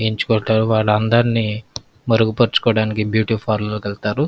ఎంచుకొని వాలందర్నీ మరుగుపర్చుకోవాడానికి బ్యూటీ పార్లర్ కి వెళ్తారు --